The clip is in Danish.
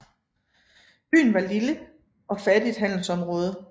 Byen var et lille og fattigt handelsområde